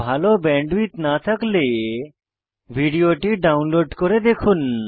ভাল ব্যান্ডউইডথ না থাকলে ভিডিওটি ডাউনলোড করে দেখুন